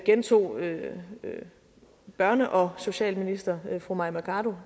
gentog daværende børne og socialminister fru mai mercado